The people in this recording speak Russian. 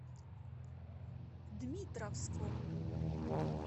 дмитровском